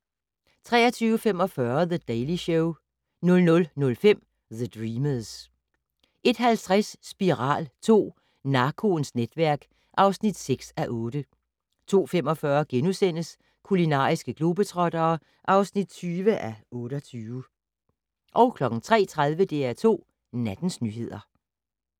23:45: The Daily Show 00:05: The Dreamers 01:50: Spiral II: Narkoens netværk (6:8) 02:45: Kulinariske globetrottere (20:28)* 03:30: DR2 Nattens nyheder